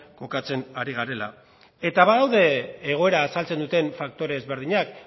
kokatzen ari garela eta badaude egoera azaltzen duten faktore ezberdinak